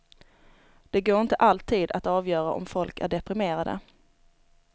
Det går inte alltid att avgöra om folk är deprimerade.